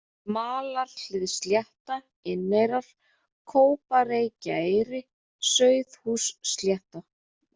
Malarhliðsslétta, Inneyrar, Kópareykjaeyri, Sauðahússlétta